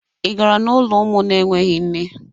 Ị gara n'ụlọ ụmụ na-enweghị nne?